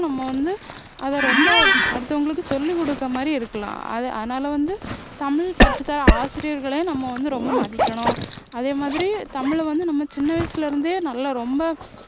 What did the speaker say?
நம்ம வந்து அதை ரொம்ப அடுத்தவங்களுக்கு சொல்லி கொடுத்தமாதிரி இருக்கலாம் அதனால வந்து தமிழ் கற்றுத்தர்ற ஆசிரியர்களையும் நம்ம வந்து ரொம்ப மதிக்கணும் அதேமாதிரி தமிழ வந்து நம்ம சின்னவயசுல இருந்தே நல்லா ரொம்ப